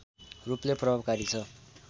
रूपले प्रभावकारी छ